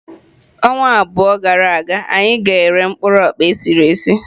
Ọnwa abụọ gara aga anyị ga-ere mkpụrụ okpa esiri esi.